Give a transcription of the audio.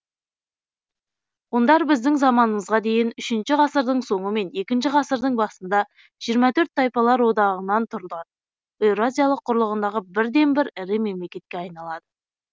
ғұндар біздің заманымызға дейін үшінші ғасырдың соңы мен екінші ғасырдың басында жиырма төрт тайпалар одағынан тұрған еуразия құрлығындағы бірден бір ірі мемлекетке айналады